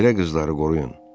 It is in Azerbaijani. Belə qızları qoruyun.